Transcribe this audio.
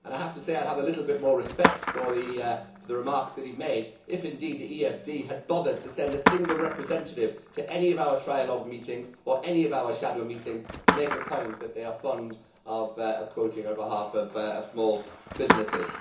I have to say that I would have a little more respect for the remarks that he made if indeed the EFD Group had bothered to send a single representative to any of our trialogue meetings or to any of our shadow meetings to make the point that they are fond of quoting on behalf of small businesses.